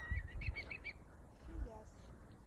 филяс